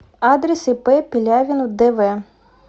адрес ип пелявин дв